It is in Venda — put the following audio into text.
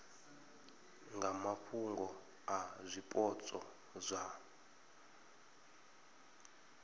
nga mafhungo a zwipotso zwa